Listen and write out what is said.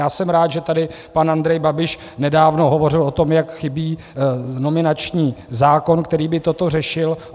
Já jsem rád, že tady pan Andrej Babiš nedávno hovořil o tom, jak chybí nominační zákon, který by toto řešil.